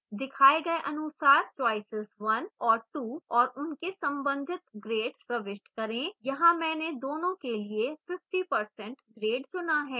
दिखाए गए अनुसार choices 1और 2 और उनके संबंधित grades प्रविष्ट करें